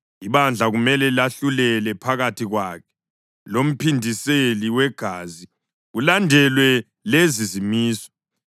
ibandla kumele lahlulele phakathi kwakhe lomphindiseli wegazi kulandelwa lezi zimiso.